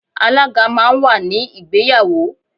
Alaga máa ń wà ní ìgbéyàwó.